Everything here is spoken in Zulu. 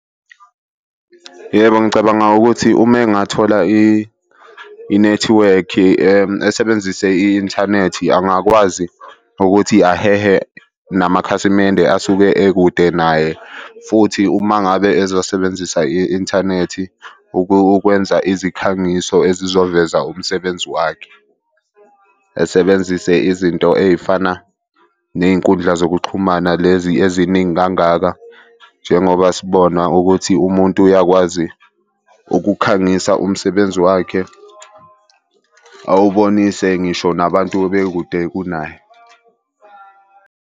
Yebo, ngicabanga ukuthi uma engathola inethiwekhi, esebenzise i-inthanethi angakwazi ukuthi ahehe namakhasimende asuke ekude naye futhi uma ngabe ezosebenzisa i-inthanethi ukwenza izikhangiso ezizoveza umsebenzi wakhe. Esebenzise izinto ey'fana ney'nkundla zokuxhumana lezi eziningi kangaka njengoba sibona ukuthi umuntu uyakwazi ukukhangisa umsebenzi wakhe awubonise ngisho nabantu bekude kunaye.